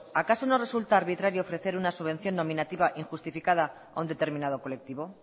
acaso no resulta arbitrario ofrecer una subvención nominativa injustificada a un determinado colectivo